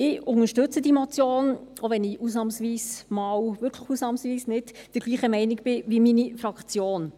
Ich unterstütze die Motion, auch wenn ich ausnahmsweise, wirklich ausnahmsweise, nicht gleicher Meinung bin wie meine Fraktion.